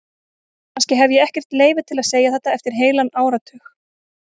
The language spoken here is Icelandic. Kannski hef ég ekkert leyfi til að segja þetta eftir heilan áratug.